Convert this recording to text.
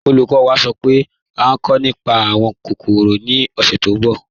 Olúkọ̀ní wá sọ́ pé à nkọ̀ nípá awọn kòkórò ni ọ̀ṣẹ̀ tó nbọ̀.